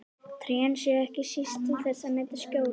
Trén séu ekki síst til þess að mynda skjól.